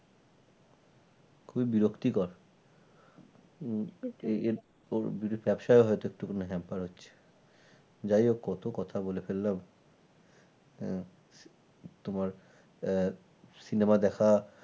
খুবই বিরক্তি কর ব্যবসা একটু খানি হয়তো hamper যাই হোক কত কথা বলে ফেললাম হ্যাঁ তোমার আহ cinema দেখা